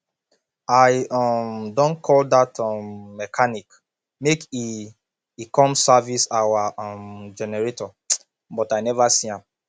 i um don call dat um mechanic make e e come service our um generator but i never see am